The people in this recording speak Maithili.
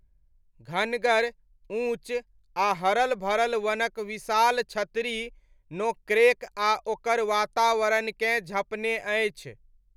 घनगर, ऊँच, आ हरल भरल वनक विशाल छतरी नोक्रेक आ ओकर वातावरणकेँ झँपने अछि।